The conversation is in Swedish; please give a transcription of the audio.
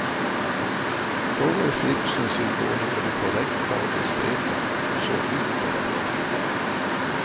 Då var slipsen symbolen för det korrekta och diskreta, och såg ut därefter.